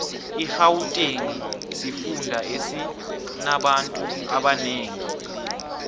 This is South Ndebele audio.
irhawutengi sifunda esinabanfu abanengi